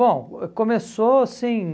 Bom, começou assim...